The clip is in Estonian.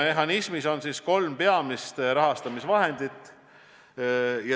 Mehhanism hõlmab kolme peamist rahastamisvahendit.